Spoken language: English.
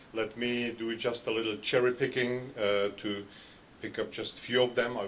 Let me do just a little cherry picking to pick up just a few of them.